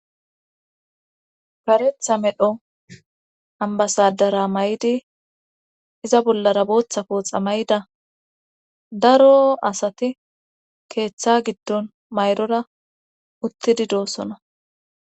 karetha medho ambasadara may7di iza bollara booththa pooxa may7ida daro asati keeththa giddon mayrora uttidi doosona